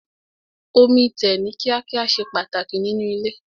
Omi tẹ̀ ní kíá kíá ṣe pàtàkì nínú ilé.